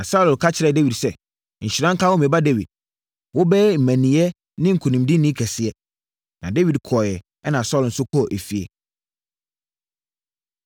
Na Saulo ka kyerɛɛ Dawid sɛ, “Nhyira nka wo, me ba Dawid. Wobɛyɛ mmaninneɛ ne nkonimdini kɛseɛ.” Na Dawid kɔeɛ ɛna Saulo nso kɔɔ efie.